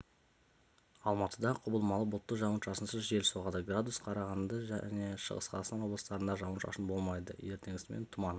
алматыда құбылмалы бұлтты жауын-шашынсыз жел соғады градус қарағанды және шығыс қазақстан облыстарында жауын-шашын болмайды ертеңгісін тұман